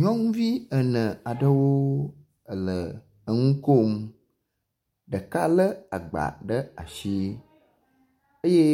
Nyɔnuvi ene aɖewo ele nukom, ɖeka le agba ɖe asi eye